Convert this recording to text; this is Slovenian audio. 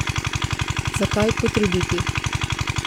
Zakaj potruditi?